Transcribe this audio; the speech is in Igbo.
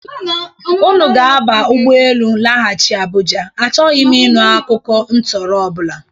Ụnụ ga-aba ụgbọ elu laghachị Abụja. Achọghị m ịnụ akụkụ ntọrọ ọ bụla!